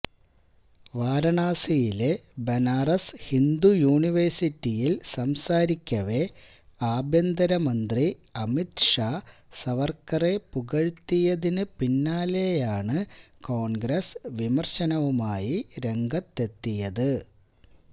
വാരണാസിയിലെ ബനാറസ് ഹിന്ദു യൂണിവേഴ്സിറ്റിയില് സംസാരിക്കവെ ആഭ്യന്തരമന്ത്രി അമിത് ഷാ സവര്ക്കറെ പുകഴ്ത്തിയതിന് പിന്നാലെയാണ് കോണ്ഗ്രസ് വിമര്ശവുമായി രംഗത്തെത്തിയത്